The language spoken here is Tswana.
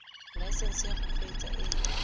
laesense ya go kgweetsa e